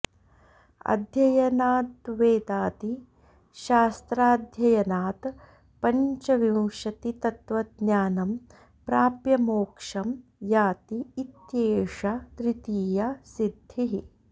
अध्ययनाद्वेदादिशास्त्राध्ययनात् पञ्चविंशतितत्त्वज्ञानं प्राप्य मोक्षं याति इत्येषा तृतीया सिद्धिः